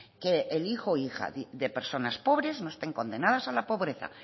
que el hijo hija de personas pobres no estén condenadas a la pobreza